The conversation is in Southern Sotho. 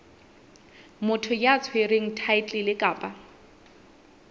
motho ya tshwereng thaetlele kapa